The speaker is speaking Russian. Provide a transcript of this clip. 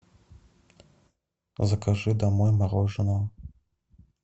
закажи домой мороженое